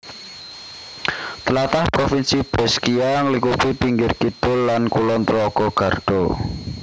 Tlatah Provinsi Brescia nglingkupi pinggir kidul lan kulon telaga Garda